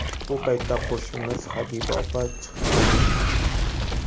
Bu paytda qo‘shnimiz Habiba opa chiqib qolgan.